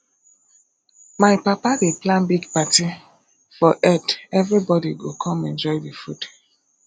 my papa dey plan big party for eid everybody go come enjoy the food